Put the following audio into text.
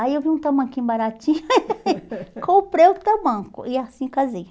Aí eu vi um tamanquinho baratinho, comprei o tamanco e assim casei.